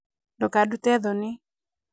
ndũkadute thoni